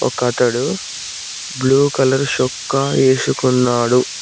ఒక అతడు blue colour శోక్క వేసుకున్నాడు.